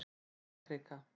Stórakrika